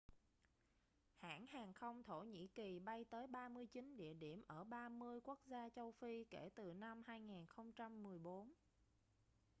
hãng hàng không thổ nhĩ kỳ bay tới 39 địa điểm ở 30 quốc gia châu phi kể từ năm 2014